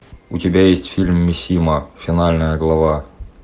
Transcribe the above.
у тебя есть фильм мисима финальная глава